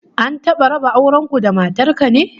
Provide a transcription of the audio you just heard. An taba raba auren ku da matar ka ne?